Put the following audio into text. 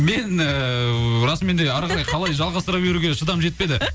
мен ііі расымен де әрі қарай қалай жалғастыра беруге шыдамым жетпеді